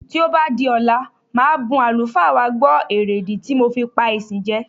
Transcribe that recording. Tí ó bá di ọ̀la màá bun àlùfáà wa gbọ̀ èrèdí ti mo fi pá ìsìn jẹ.